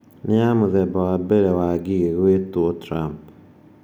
Nĩ ya mũthemba wa mbere wa Ngigĩ gwĩtwo Trump.